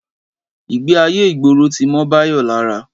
Ìgbé ayé ìgboro ti mọ́ Báyọ̀ lára